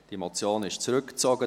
Diese wurde zurückgezogen;